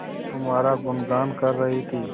तुम्हारा गुनगान कर रही थी